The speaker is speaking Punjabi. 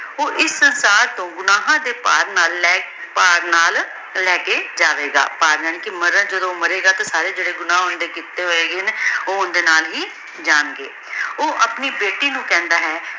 ਊ ਏਸ ਸੰਸਾਰ ਤੋਂ ਗੁਨਾਹਾਂ ਦੇ ਭਾਰ ਨਾਲ ਭਾਰ ਨਾਲ ਲੇ ਕੇ ਜਾਵੇ ਗਾ ਭਾਰ ਯਾਨੀ ਕਰ ਮਾਰਨ ਜਦੋਂ ਮਾਰੀ ਗਾ ਸਾਰੇ ਜੇਰੇ ਗੁਨਾਹ ਕਿਤੇ ਹੋਣ ਗੇ ਊ ਏਡੇ ਨਾਲ ਹੀ ਜਾਂ ਗੇ ਊ ਆਪਣੀ ਬੇਟੀ ਨੂ ਕਹੰਦਾ ਹੈ